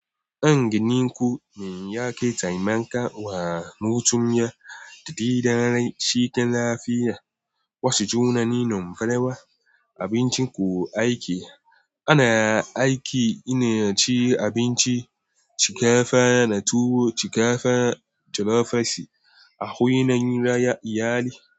An gani kuwa min yaƙi taimakawa mutum ya daidaita shi ta lafiya. Wasu tunanin farawa abincin kuwa ake ana aiki ina ci abinci, shiga fana tuwo, shiga fana tirafesi a wurin iyali.